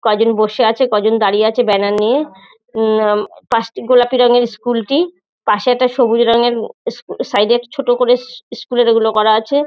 কজন বসে আছে কজন দাঁড়িয়ে আছে ব্যানার নিয়ে। উমমম পাঁচটি গোলাপি রঙের স্কুল -টি। পাশে একটা সবুজ রঙের সাইড -এ একটা ছোট করে স্কু-স্কুল -এর ওগুলো করা আছে।